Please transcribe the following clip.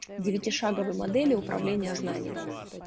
девяти шаговой модели управления знаниями